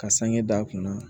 Ka sange d'a kunna